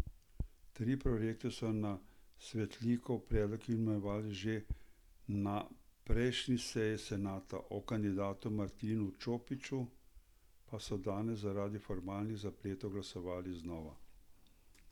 Tri prorektorje so na Svetlikov predlog imenovali že na prejšnji seji senata, o kandidatu Martinu Čopiču pa so danes zaradi formalnih zapletov glasovali znova.